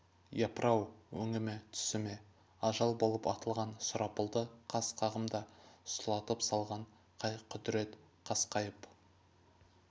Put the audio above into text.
япыр-ау өңі ме түсі ме ажал болып атылған сұрапылды қас қағымда сұлатып салған қай құдірет қасқайып